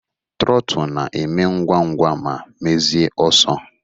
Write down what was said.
Trootul na-eme ngwa ngwa ma mezie ọsọ.